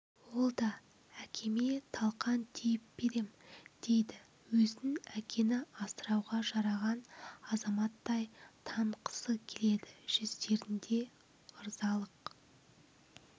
ол да әкеме талқан түйіп берем дейді өзін әкені асырауға жараған азаматтай танытқысы келеді жүздерінде ырзалық